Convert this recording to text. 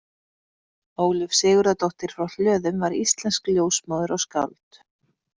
Ólöf Sigurðardóttir frá Hlöðum var íslensk ljósmóðir og skáld.